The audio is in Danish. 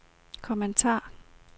kommentar